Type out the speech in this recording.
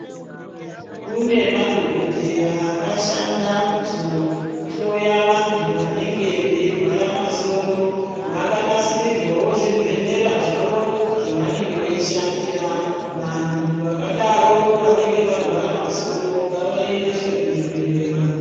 Kune madhokodheya akashanda kuzohloya vantu vanenge veiwara masoro, vakanasirirwawo zvibhehlera zvavo zvavanenge veishandira. Vanhu vakadaro vanenge varwara masoro ngavaendeswe kuzvibhehlera.